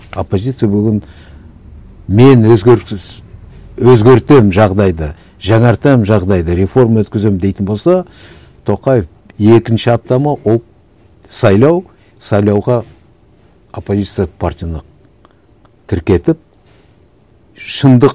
оппозиция бүгін мен өзгертемін жағдайды жаңартамын жағдайды реформа өткіземін дейтін болса тоқаев екінші апта ма ол сайлау сайлауға оппозиция партияны тіркетіп шындық